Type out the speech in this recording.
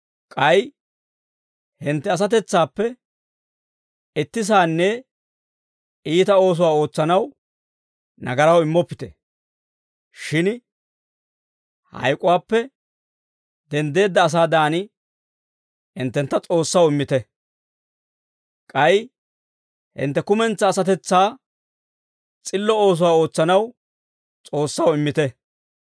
K'ay hintte asatetsaappe itti saanne iita oosuwaa ootsanaw nagaraw immoppite; shin hayk'uwaappe denddeedda asaadan hinttentta S'oossaw immite; k'ay hintte kumentsaa asatetsaakka s'illo oosuwaa ootsanaw S'oossaw immite;